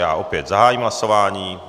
Já opět zahájím hlasování.